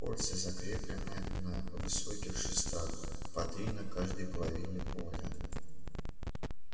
кольца закреплены на высоких шестах по три на каждой половине поля